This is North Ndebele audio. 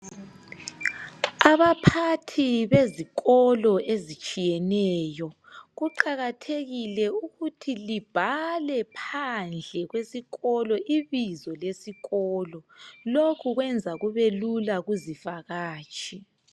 Abaphathi bezikolo ezitshiyeneyo kuqakathekile ukuthi libhale phandle kwesikolo ibizo lesikolo lokhu kwenza kube lula kuzivakatshi